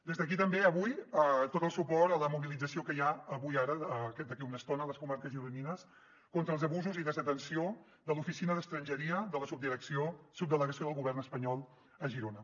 des d’aquí també avui tot el suport a la mobilització que hi ha avui ara d’aquí a una estona a les comarques gironines contra els abusos i desatenció de l’oficina d’estrangeria de la subdelegació del govern espanyol a girona